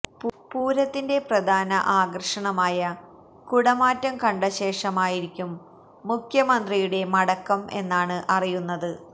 പൂരത്തിന്റെ പ്രധാന ആകര്ഷണമായ കുടമാറ്റം കണ്ട ശേഷമായിരിക്കും മുഖ്യമന്ത്രിയുടെ മടക്കം എന്നാണ് അറിയുന്നത്